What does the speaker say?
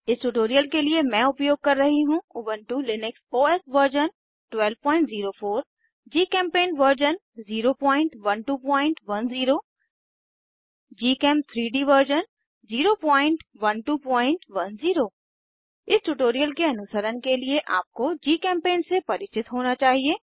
इस ट्यूटोरियल के लिए मैं उपयोग कर रही हूँ Ubuntu Linux OS version 1204 GChemPaint version 01210 gchem3डी वर्जन 01210 इस ट्यूटोरियल के अनुसरण के लिए आपको जीचेम्पेंट से परिचित होना चाहिये